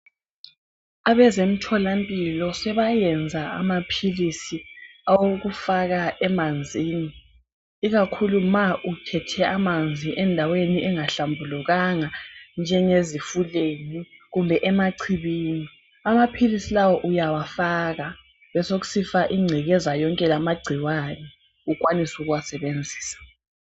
Abezemtholampilo sebayenza amaphilisi awokufaka emanzini ikakhulu ma uthethe amanzi endaweni engahlambulukanga njengezifuleni kumbe emachibini. Amaphilisi lawa uyawafaka besekusifa ingcekeza yonke lamagciwane ukwanise ukuwasebenzisa.